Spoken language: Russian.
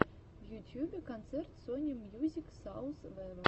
в ютьюбе концерт сони мьюзик саус вево